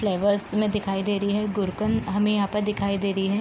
flowers में दिखाई दे रही है गुरकन हमें यहाँ पर दिखाई दे रही है |